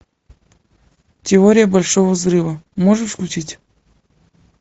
теория большого взрыва можешь включить